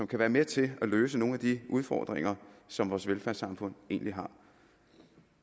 kan være med til at løse nogle af de udfordringer som vores velfærdssamfund egentlig har